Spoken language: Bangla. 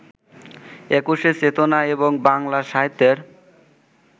একুশের চেতনা এবং বাংলা সাহিত্যের